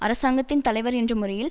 அரசாங்கத்தின் தலைவர் என்ற முறையில்